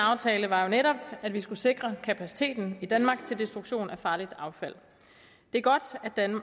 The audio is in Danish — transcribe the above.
aftale var jo netop at vi skulle sikre kapaciteten i danmark til destruktion af farligt affald det er godt